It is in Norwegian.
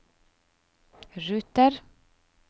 ruter